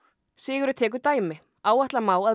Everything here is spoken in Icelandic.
Sigurður tekur dæmi áætla má að